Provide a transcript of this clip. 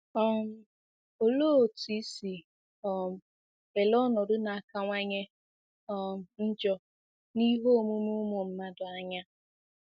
um Olee otú i si um ele ọnọdụ na-akawanye um njọ n'ihe omume ụmụ mmadụ anya?